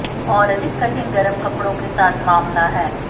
और अधिक कठिन गर्म कपड़ों के साथ मामला है